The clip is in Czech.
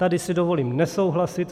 Tady si dovolím nesouhlasit.